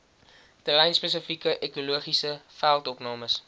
terreinspesifieke ekologiese veldopnames